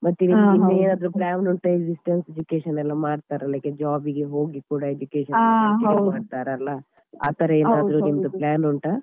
ಮತ್ತೆ ಏನಾದ್ರು plan ಉಂಟಾ ಈ distance education ಎಲ್ಲಾ ಮಾಡ್ತಾರಲ್ಲಾ job ಗೆ ಹೋಗಿ ಕೂಡ education ಮಾಡ್ತಾರಲ್ಲ ಆತರ ಏನಾದ್ರು plan ಉಂಟಾ?